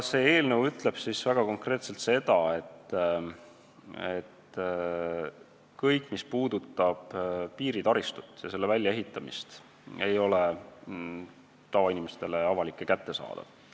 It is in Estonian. See eelnõu ütleb väga konkreetselt seda, et kõik, mis puudutab piiritaristut ja selle väljaehitamist, ei ole tavainimestele avalik ega kättesaadav.